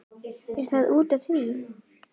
Er það út af því?